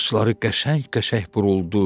Saçları qəşəng-qəşəng buruldu.